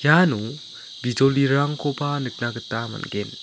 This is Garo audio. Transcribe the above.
iano bijolirangkoba nikna gita man·gen.